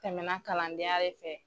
Tɛmɛna kalandenya de fɛ.